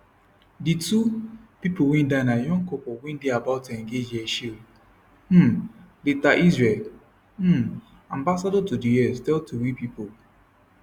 di two pipo wey die na young couple wey dey about to engage yechiel um leiter israel um ambassador to di us tell tori pipo